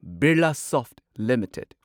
Birlasoft limited